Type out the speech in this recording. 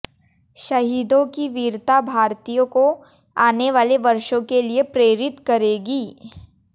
शहीदों की वीरता भारतीयों को आने वाले वर्षों के लिए प्रेरित करेगी